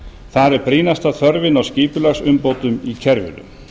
þar er brýnasta þörfin á skipulagsumbótum í kerfinu